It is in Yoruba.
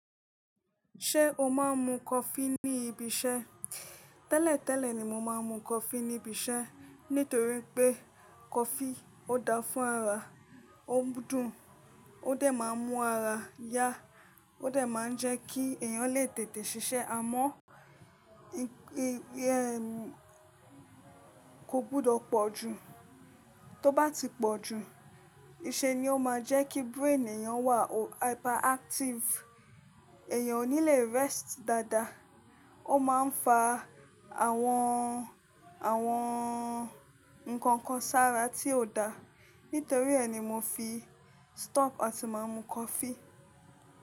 Ṣé o máa ń mu coffee ní ibi iṣẹ́? Tẹ́lẹ̀tẹ́lẹ̀ ni mo máa ń mu coffee ní ibi iṣẹ́ nítorí pé coffee ó dáa fún ara, ó dùn, ó dẹ̀ máa ń mú ara yá, ó dẹ̀ máa ń jẹ́ kí ẹ̀yàn lè tètè ṣiṣẹ́. Àmọ́, kò gbọdọ̀ pọ̀ jù. Tó bá ti pọ̀ jù, ìṣe ni ó máa ń jẹ́ kí brain ẹ̀yàn wà hyperactive. Ẹ̀yàn ò ní le rest dáadáa. Ó máa ń fa àwọn, àwọn nǹkan kan sára tí ò dáa. Nítorí ẹni mo fi stop àti máa ń mu coffee.